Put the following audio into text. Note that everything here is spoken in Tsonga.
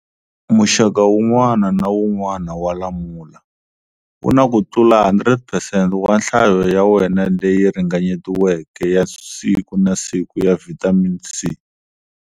Muxaka wun'wana na wun'wana wa lamula wuna kutlula 100 percent wa nhlayo ya wena leyi ringanyetiweke ya siku na siku ya vitamin C.